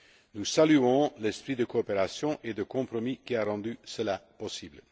Nous saluons l'esprit de coopération et de compromis qui a rendu cela possible.